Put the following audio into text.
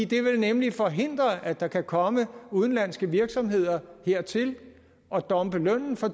det vil nemlig forhindre at der kan komme udenlandske virksomheder hertil og dumpe lønnen for